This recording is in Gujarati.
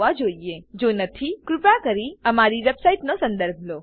જો નથી તો સંદર્ભિત ટ્યુટોરીયલો માટે કૃપા કરી અમારી વેબસાઈટનો સંદર્ભ લો